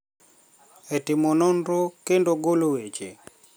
E timo nonro kendo golo weche